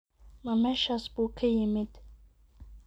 Ma meeshaas buu ka yimid?